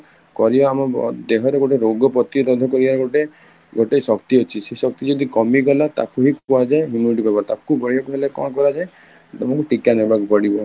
କରିବା ଆମ ଦେହରେ ଗୋଟେ ପ୍ରତିରୋଧ କରିବାକୁ ଗୋଟେ ଶକ୍ତି ଅଛି ସେ ଶକ୍ତି ଯଦି କମି ଗଲା ତାକୁହିଁ କୁହ ଯାଏ immunity power ତାକୁ ବଢ଼େଇବାକୁ ହେଲେ କଣ କରା ଯାଏ, ତମକୁ ଟୀକା ନବାକୁ ପଡିବ